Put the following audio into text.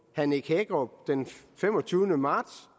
herre nick hækkerup den femogtyvende marts